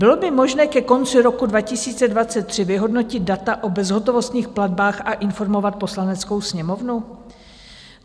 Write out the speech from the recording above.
Bylo by možné ke konci roku 2023 vyhodnotit data o bezhotovostních platbách a informovat Poslaneckou sněmovnu?